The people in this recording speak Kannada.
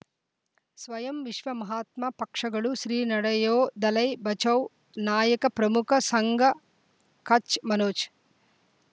ಸ್ವಯಂ ವಿಶ್ವ ಮಹಾತ್ಮ ಪಕ್ಷಗಳು ಶ್ರೀ ನಡೆಯೊ ದಲೈ ಬಚೌ ನಾಯಕ ಪ್ರಮುಖ ಸಂಘ ಕಚ್ ಮನೋಜ್